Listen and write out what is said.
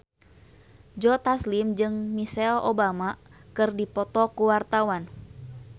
Joe Taslim jeung Michelle Obama keur dipoto ku wartawan